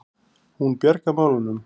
Hún bjargar málunum.